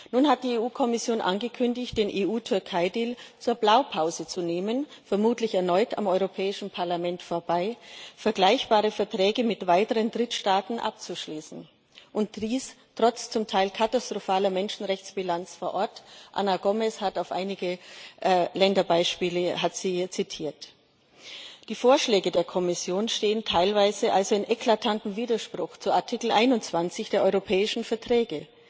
Nun hat die EU Kommission angekündigt, den EU Türkei Deal zur Blaupause zu nehmen vermutlich erneut am Europäischen Parlament vorbei um vergleichbare Verträge mit weiteren Drittstaaten abzuschließen, und dies trotz zum Teil katastrophaler Menschenrechtsbilanz vor Ort. Ana Gomes hat einige Länderbeispiele hier zitiert. Die Vorschläge der Kommission stehen teilweise also in eklatantem Widerspruch zu Artikel 21 der europäischen Verträge.